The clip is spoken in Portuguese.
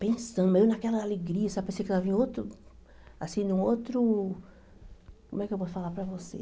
Pensando eu naquela alegria, sabe pensei que eu ia ver em outro assim num outro... Como é que eu posso falar para você?